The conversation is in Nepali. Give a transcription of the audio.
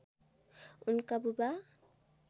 उनका बुबा